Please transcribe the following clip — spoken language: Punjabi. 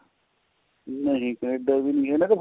ਨਹੀਂ Canada ਦੀ ਨਹੀਂ ਏ ਮੇਂ ਕਿਹਾ